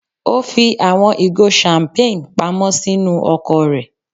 O fi awọn igo champagne pamọ sinu ọkọ rẹ.